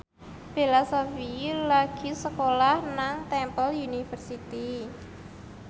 Bella Shofie lagi sekolah nang Temple University